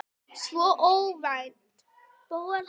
Svo óvænt.